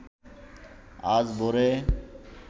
আজ ভোরে